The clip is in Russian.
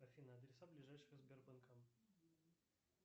афина адреса ближайшего сбербанка